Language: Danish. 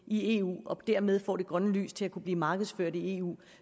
i eu og dermed får grønt lys til at kunne blive markedsført i eu